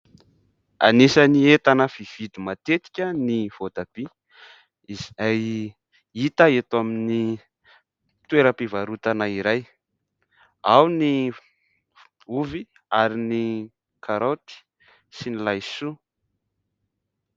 Anisany entana fividy matetika ny voatabia izay hita eto amin'ny toeram -pivarotana iray ,ao ny ovy ary ny karaoty sy ny laisoa .